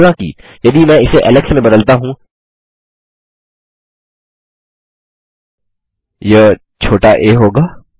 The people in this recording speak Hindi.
हालाँकि यदि मैं इसे एलेक्स में बदलता हूँ यह छोटा आ होगा